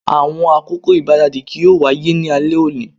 Awọn akoko igbaradi kii yoo waye ni alẹ oni